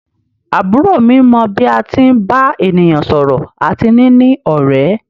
Àbúrò mi mọ bí a tí ń bá ènìyàn sọ̀rọ̀ àti níní ọ̀rẹ́.